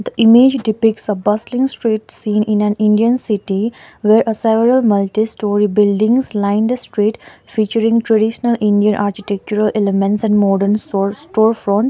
image depicts a bustling street scene in an indian city where a several multistorey buildings lined a street featuring traditional indian architectural elements and modern sor store fronts.